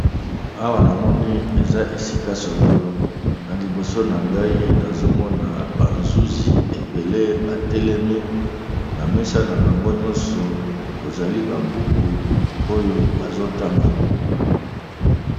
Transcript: Awa na moni eza esika songolo na liboso na ngai nazomona bazuzi ebele batelemi na mesa na bango nyonso kozali babuku oyo bazotanga.